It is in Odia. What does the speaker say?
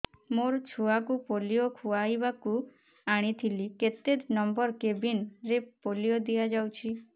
ମୋର ଛୁଆକୁ ପୋଲିଓ ଖୁଆଇବାକୁ ଆଣିଥିଲି କେତେ ନମ୍ବର କେବିନ ରେ ପୋଲିଓ ଦିଆଯାଉଛି